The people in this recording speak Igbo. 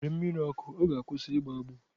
Were mmiri ọkụ ọ ga-akwụsị igboagbo.